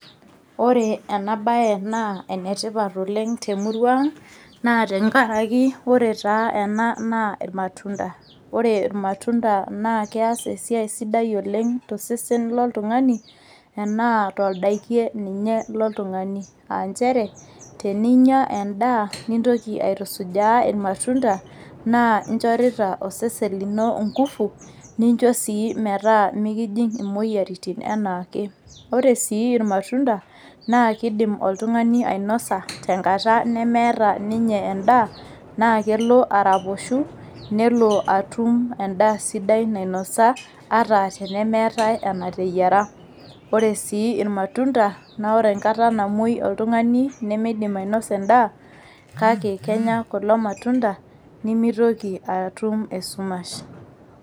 Ore ena bae naa ene tipat oleng te murua ang naa tenkaraki ore taa ena naa irmatunda. Ore irmatunda naa keas esiai sidai tosesen loltungani enaa toldakie ninye loltungani aa nchere teninye endaa , nintoki aitusujaa irmatunda naa inchorita osesen lino inkufu , nincho sii metaa mikijing imoyiaritin anaake. Ore sii irmatunda naa kidim oltungani ainosa tenkata nemeeta ninye endaa naa kelo araposhu , naa kelo atum endaa sidai ata tenemeetae enateyiera. Ore sii irmatunda naa ore enkata namwoi oltungani nimidim ainosa endaa , kake kenya kulo matunda nimitoki atum esumash.